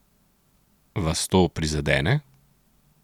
Vas to prizadene?